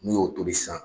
N'u y'o tobi sisan